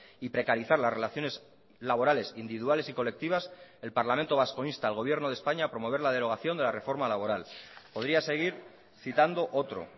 y precarizar las relaciones laborales individuales y colectivas el parlamento vasco insta al gobierno de españa a promover la derogación de la reforma laboral podría seguir citando otro